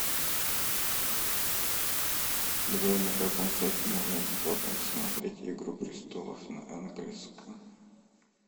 джой на каком сайте можно бесплатно посмотреть игру престолов на английском